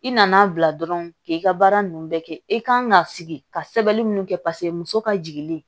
I nana bila dɔrɔn k'i ka baara ninnu bɛɛ kɛ i kan ka sigi ka sɛbɛnni kɛ paseke muso ka jigilen